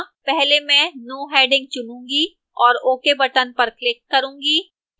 पहले मैं no heading चुनूंगी और ok button पर click करूंगी